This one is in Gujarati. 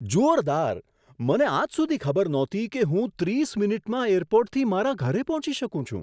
જોરદાર! મને આજ સુધી ખબર નહોતી કે હું ત્રીસ મિનિટમાં એરપોર્ટથી મારા ઘરે પહોંચી શકું છું.